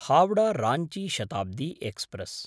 हावडा–राञ्ची Shatabdi express